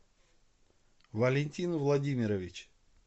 валентин владимирович